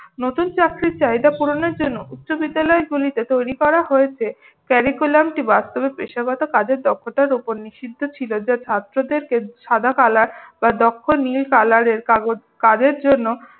নতুন চাকরির চাহিদা পুরনের জন্য বিশ্ববিদ্যালয়গুলিকে তৈরি করা হয়েছে। curriculum টি বাস্তবে পেশাগত কাজের দক্ষতার উপর নিষিদ্ধ ছিল যা ছাত্রদেরকে সাদা color বা দক্ষ নীল color কাজের জন্য